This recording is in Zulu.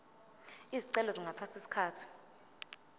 izicelo zingathatha isikhathi